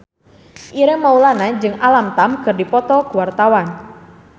Ireng Maulana jeung Alam Tam keur dipoto ku wartawan